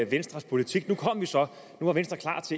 venstres politik og at venstre